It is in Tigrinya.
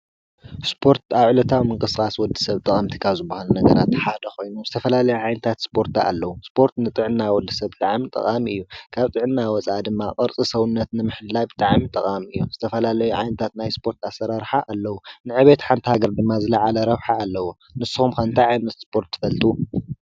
ስፖርት ኣብ ዕለታዊ ምቅስቃስ ወዲሰብ ካብ ዝባሃሉ ነጋራት ሓደ ኮይኑ ዝተፈላለዩ ዓይነታት ስፖርት ኣለው፡፡ ስፖርት ንጥዕና ወዲሰብ ብጣዕሚ ጠቃሚ እዩ፡፡ ካብ ጥዕና ወፃኢ ድማ ቅርፂ ሰውነት ንምሕላው ብጣዕሚ ጠቃሚ እዩ፡፡ ዝተፈላለዩ ዓይነታት ናይ ስፖርት ኣሰራርሓ ኣለው፡፡ ንዕቤት ሓንቲ ሃገር ድማ ዝላዓለ ረብሓ ኣለዎ፡፡ ንስኩም ከ እንታይ ዓይነት ስፖርት ትፈልጡ?